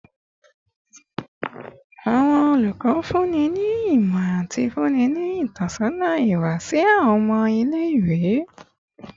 Awọn olukọ funni ni imọ ati funni ni itọsọna iwa si awọn ọmọ ile-iwe